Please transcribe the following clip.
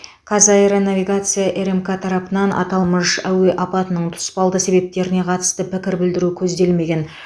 қазаэронавигация рмк тарапынан аталмыш әуе апатының тұспалды себептеріне қатысты пікір білдіру көзделмеген